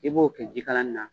I b'o kɛ jikalan na.